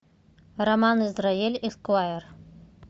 роман израэль эсквайр